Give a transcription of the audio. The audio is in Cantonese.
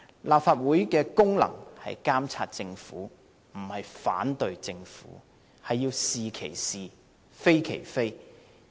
立法會的功能是監察政府，而不是反對政府，必須是其是，非其非。